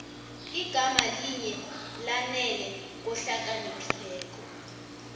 igama linye lanele kohlakaniphileko